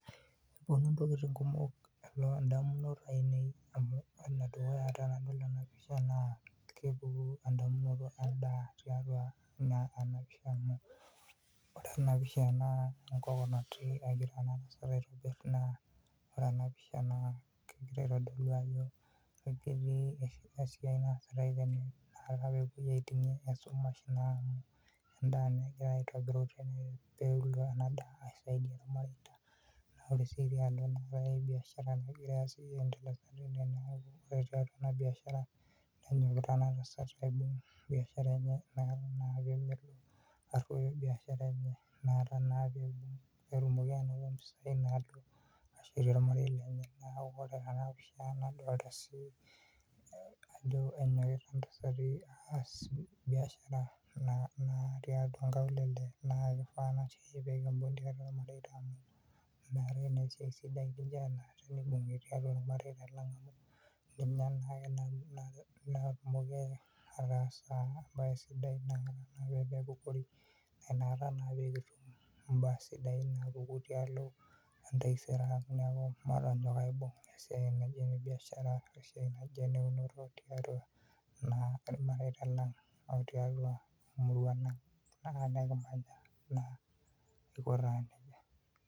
kepuonu intokitin kumok idamunot ainei tenadol ena pisha amu ore ene dukuya naa edaa etii endasat, naa kegira atodolu ajo pee epuo aitingie esumash amu edaa aisaidia ilmareita, naa ore tiatua ena biashara nenyokita ena tasat amu inakata naa meroyo biashara, inakata naa pee etum anoto impisai naa shetie olmarei lenye, neeku ore tena pisha nadoolta sii ajo enyokita ena tasat, neeku ore naa tiatua inkaulele naa kishaa pee kibug ilmareita, amu ninye naake natumoki ataasa ibaa sidain neeku matonyok aibung ilmareita lang aiko taa nejia.